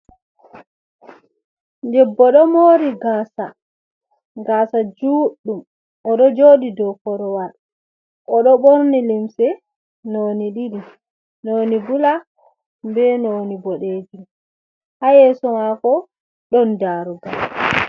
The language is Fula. Debbo ɗo mori gasa, gasa juɗɗum. Oɗo joɗi dou korowal, oɗo ɓorni limse noni ɗiɗi. Noni bula be noni boɗejum Ha yeso mako ɗon darugal.